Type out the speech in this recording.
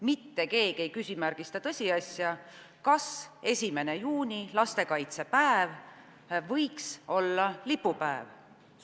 Mitte keegi ei küsimärgista tõsiasja, kas 1. juuni, lastekaitsepäev, võiks olla lipupäev.